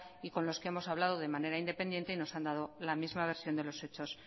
y con los que hemos hablado de manera independiente y nos han dado la misma versión de los hechos